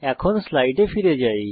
এখন স্লাইডে ফিরে যাই